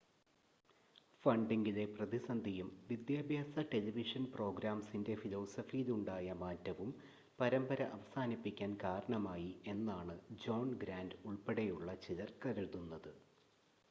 ഫണ്ടിംഗിലെ പ്രതിസന്ധിയും വിദ്യാഭ്യാസ ടെലിവിഷൻ പ്രോഗ്രാമിംഗിൻ്റെ ഫിലോസഫിയിലുണ്ടായ മാറ്റവും പരമ്പര അവസാനിപ്പിക്കാൻ കാരണമായി എന്നാണ് ജോൺ ഗ്രാൻ്റ് ഉൾപ്പെടെയുള്ള ചിലർ കരുതുന്നത്